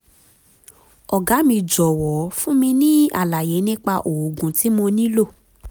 ọ̀gá mi jọ̀wọ́ fún mi ní àlàyé nípa oògùn tí mo nílò